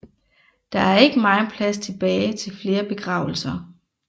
Der er ikke megen plads tilbage til flere begravelser